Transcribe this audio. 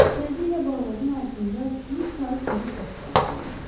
Tezliklə bababın altında bir tay quru ot qalaqlandı.